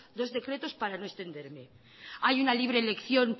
dos decretos para no extenderme hay una libre elección